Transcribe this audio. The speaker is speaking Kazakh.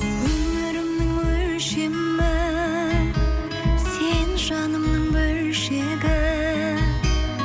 өмірімнің өлшемі сен жанымның бөлшегі